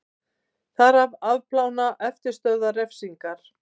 Þarf að afplána eftirstöðvar refsingar